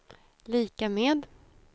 lika med